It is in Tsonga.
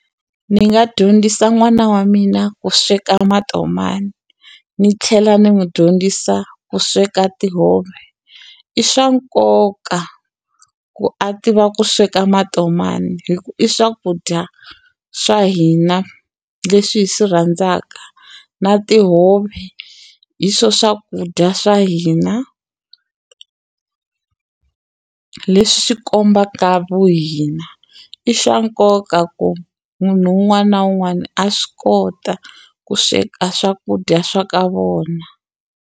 Ni nga dyondzisa n'wana wa mina ku sweka matomani ni tlhela ni n'wu dyondzisa ku sweka tihove i swa nkoka ku a tiva ku sweka matomani hi ku i swakudya swa hina leswi hi swi rhandzaka na tihove hi swo swakudya swa hina leswi swi kombaka vuhina i swa nkoka ku munhu wun'wana na wun'wani a swi kota ku sweka swakudya swa ka vona.